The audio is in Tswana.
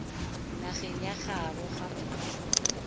nageng ya gaabo ga mmogo